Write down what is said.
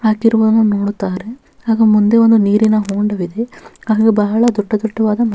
ಹಾಕಿರುದನ್ನು ನೋಡುತ್ತಾರೆ ಹಾಗೂ ಮುಂದೆ ಒಂದು ನೀರಿನ ಹೊಂಡವಿದೆ ಅದು ಬಹಳ ದೊಡ್ಡ ದೊಡ್ಡವಾದ--